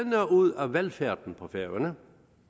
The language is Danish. ud af velfærden på færøerne